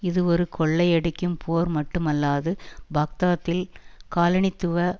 இது ஒரு கொள்ளையடிக்கும் போர் மட்டுமல்லாது பாக்தாத்தில் காலனித்துவ